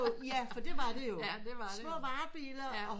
Ja for det var det jo små varebiler og